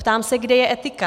Ptám se, kde je etika.